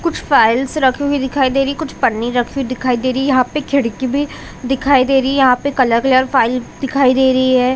--कुछ फाइल्स रखी हुई दिखी दे रही है कुछ पन्नी रखी हुई दिखाई दे रही है यहाँ पे खिड़की भी दिखाई दे रही है यहाँ कला कलर फाइल दिखाई दे रही है।